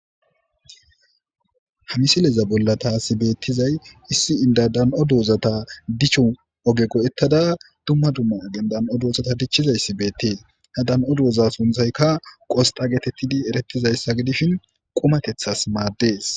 ha misileza bolla taasi beettizay issi inda dan7o doozata dichun oge go7ettada dumma dumma ogen dan7o doozata dichchizay si beettee ha dan7o dooza sunthayka qosxa geetettidi erettizayssa gidishin qumatethas maaddees